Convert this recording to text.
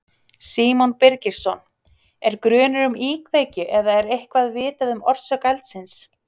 Símon Birgisson: Er grunur um íkveikju eða er eitthvað vitað um orsök eldsins?